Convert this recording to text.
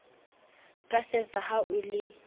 ka sesa ha o le